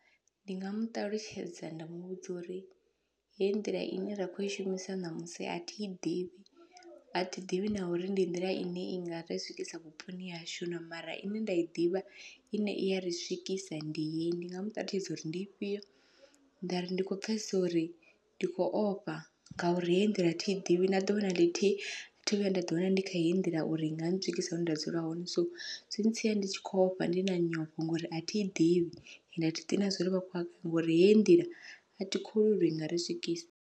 Ndi nga muṱalutshedza nda muvhudza uri hei nḓila ine ra kho i shumisa ṋamusi athi i ḓivhi, athi ḓivhi na uri ndi nḓila ine i nga ri swikisa vhuponi hashu na mara ine nda i ḓivha ine i yari swikisa ndi heyi, ndi nga muṱalutshedza uri ndi ifhio nda ri ndi kho pfhesesa uri ndi khou ofha ngauri heyi ndila thi i ḓivhi na ḓuvha na ḽithihi athi thu vhuya nda ḓi wana ndi kha heyi nḓila uri nga ntswikisa hune nda dzula hone. So zwi ntsia ndi tshi kho ofha ndi na nyofho ngori athi i ḓivhi ende athi ḓivhi na zwauri vha kho yafhi ngori hei nḓila athi kholwi uri inga ri swikisa.